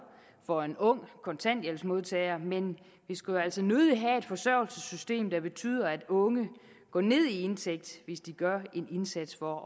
for en ung kontanthjælpsmodtager men vi skulle jo altså nødig have et forsørgelsessystem der betyder at unge går ned i indtægt hvis de gør en indsats for